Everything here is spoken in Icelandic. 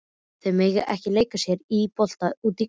Þau mega ekki leika sér að bolta úti í garði.